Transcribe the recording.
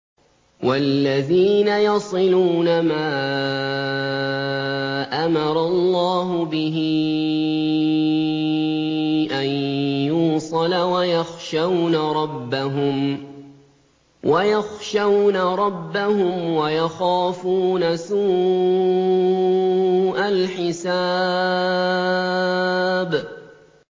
وَالَّذِينَ يَصِلُونَ مَا أَمَرَ اللَّهُ بِهِ أَن يُوصَلَ وَيَخْشَوْنَ رَبَّهُمْ وَيَخَافُونَ سُوءَ الْحِسَابِ